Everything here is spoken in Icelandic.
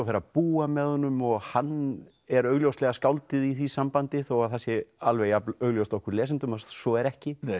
fer að búa með honum og hann er augljóslega skáldið í því sambandi þó það sé alveg jafn augljóst okkur lesendum að svo er ekki